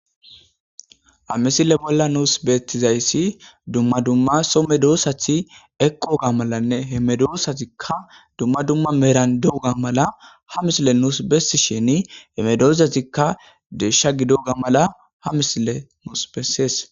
amisile bolla nuus beettizayssi dumma dumma so medoossathi eqoga malanne hemedoosazikka dumma dumma merandoga mala ha misile nuus bessi sheni hemedozazikka deesha gidoga mala ha misile nuus bessees